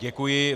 Děkuji.